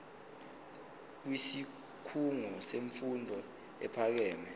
kwisikhungo semfundo ephakeme